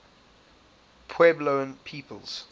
puebloan peoples